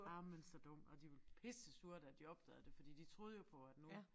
Ej men så dum og de var pissesure da de opdagede det fordi de troede jo på at nu